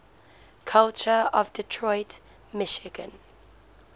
culture of detroit michigan